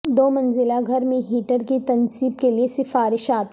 دو منزلہ گھر میں ہیٹر کی تنصیب کے لئے سفارشات